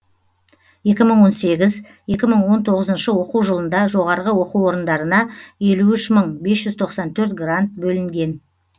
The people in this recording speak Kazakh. екі мың он сегіз екі мың он тоғызыншы оқу жылында жоғарғы оқу орындарына елу үш мың бес жүз тоқсан төрт грант бөлінген